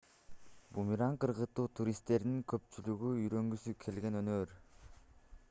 бумеранг ыргытуу туристтердин көпчүлүгү үйрөнгүсү келген өнөр